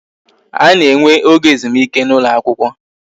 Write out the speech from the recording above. A na-enwe oge ezumike n'ụlọ akwụkwọ